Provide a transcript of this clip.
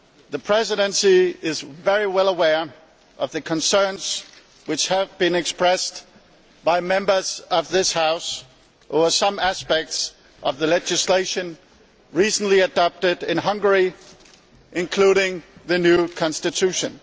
The Presidency is very well aware of the concerns which have been expressed by Members of this House over some aspects of the legislation recently adopted in Hungary, including the new constitution.